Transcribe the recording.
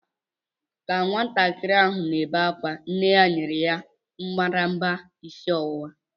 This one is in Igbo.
Ka nwatakịrị ahụ na-ebe ákwá, nne ya nyere ya mbadamba isi ọwụwa.